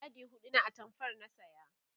yadi huɗu na atamfar na saya